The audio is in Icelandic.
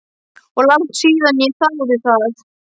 Og langt síðan ég þáði það.